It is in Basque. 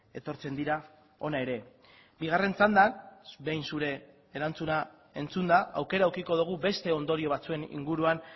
etortzen dira hona ere bigarren txandan behin zure erantzuna entzunda aukera edukiko dugu beste ondorio batzuen inguruan